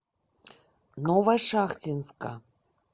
новошахтинска